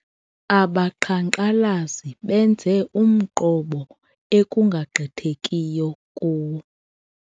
Abaqhankqalazi benze umqobo ekungagqithekiyo kuwo.